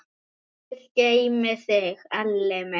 Guð geymi þig, Elli minn.